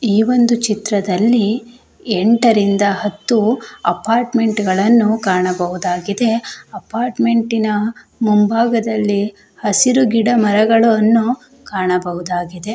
ಈ ಒಂದು ಚಿತ್ರದಲ್ಲಿ ಎಂಟರಿಂದ ಹತ್ತು ಅಪಾರ್ಟ್ಮೆಂಟ್ ಗಳನ್ನು ಕಾಣಬಹುದಾಗಿದೆ ಅಪಾರ್ಟ್ಮೆಂಟಿನ ಮುಂಭಾಗದಲ್ಲಿ ಹಸಿರು ಗಿಡ ಮರಗಳನ್ನು ಕಾಣಬಹುದಾಗಿದೆ.